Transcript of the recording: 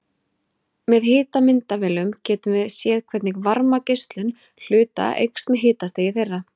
Með hitamyndavélum getum við séð hvernig varmageislun hluta eykst með hitastigi þeirra.